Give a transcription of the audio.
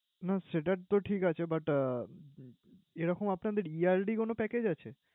না সেটা তো ঠিকাছে but আহ এরকম আপনাদের yearly কোন package আছে?